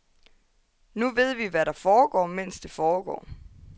Nu ved vi, hvad der foregår, mens det foregår.